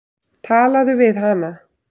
Talaðu við hana.